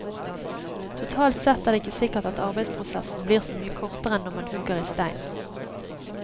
Totalt sett er det ikke sikkert at arbeidsprosessen blir så mye kortere enn når man hugger i stein.